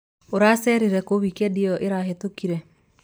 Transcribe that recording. ũracerire kuu wikendi ĩyo ĩrahĩtũkire?